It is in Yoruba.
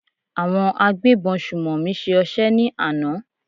Àwọn agbébọn sùnmọ̀mí ṣe ọṣẹ́ ní àná.